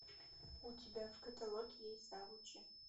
у тебя в каталоге есть завучи